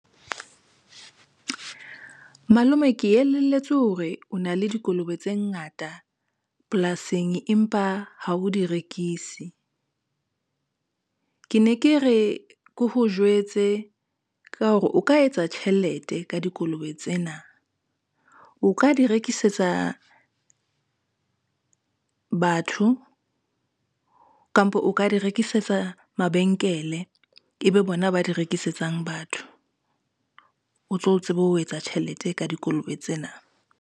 Malome ke elelletswe hore o na le dikolobe tse ngata polasing, empa ha o di rekise. Ke ne ke re ke ho jwetse ka hore o ka etsa tjhelete ka dikolobe tsena, o ka di rekisetsa batho kampo, o ka di rekisetsa mabenkele, ebe bona ba di rekisetsang batho. O tlo tsebe ho etsa tjhelete ka dikolobe tsena.